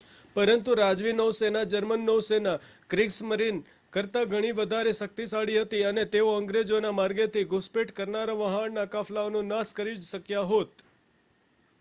"પરંતુ રાજવી નૌસેના જર્મન નૌસેના "ક્રિગસ્મરીન" કરતા ઘણી વધારે શક્તિશાળી હતી અને તેઓ અંગ્રેજોના માર્ગેથી ઘુસપેઠ કરનારા વહાણના કાફલાઓનો નાશ કરી જ શક્યા હોત.